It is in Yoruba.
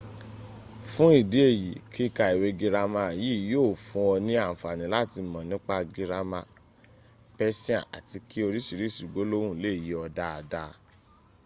fun idi eyi kika iwe girama yi yio fun ọ ni anfani lati mọ nipa girama persian ati ki oriṣiriṣi gbolohun le ye ọ daada